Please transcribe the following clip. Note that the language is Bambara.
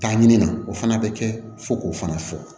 Taa ɲini na o fana bɛ kɛ fo k'o fana fɔ